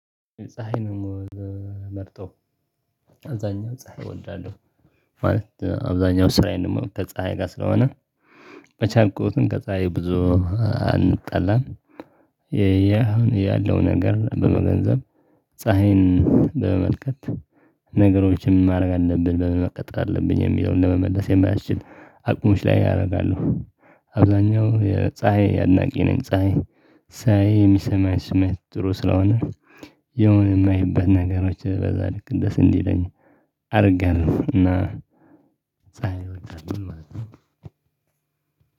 ፀሀይ ደግሞ መርጦ አብዛኛው ፀሀይ እወዳለሁ ማለት አብዛኛው ስራዬን ደግሞ ከፀሀይ ጋር ስለሆነ በቻልኩት ከፀሀይ ብዙ አንጣላም። ይሄ ያለው ነገር በመገንዘብ ፀሀይን በመመልከት ነገሮችን ማድረግ አለብን በመቀጠል አለብን የሚለውን ለመመለስ የማያስችል አቅምሽ ላይ ያረጋሉ። አብዛኛው የፀሀይ አድናቂ ነኝ ፀሀይ ሳይ የሚሰማኝ ስሜት ጥሩ ስለሆነ የሆነ የማይበት ነገሮች በዛ ልክ እንደዚህ እንዲለኝ አደርጋለሁ። እና